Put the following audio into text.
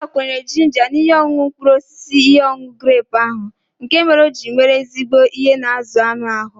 M gbakwunyere ginger na ihe ọṅụṅụ mkpụrụ osisi ihe ọṅụṅụ grepu ahụ nkè mèrè ọ jírí nwèrè ezigbo ihe na azụ anụ ahụ